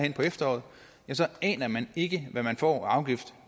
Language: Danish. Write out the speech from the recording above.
i efteråret ja så aner man ikke hvad man får af afgift